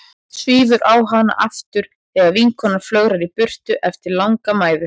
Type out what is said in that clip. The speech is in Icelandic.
Svífur á hana aftur þegar vinkonan flögrar í burtu eftir langa mæðu.